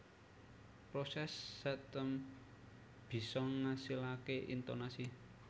Proses setem bisa ngasilake intonasi